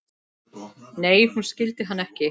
Nei, hún skildi hann ekki.